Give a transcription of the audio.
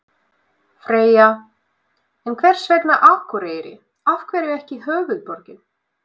Freyja: En hvers vegna Akureyri, af hverju ekki höfuðborgin?